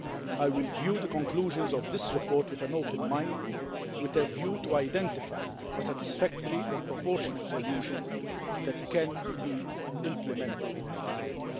I will view the conclusions of this report with an open mind, with a view to identifying a satisfactory and proportionate solution that can be implemented effectively.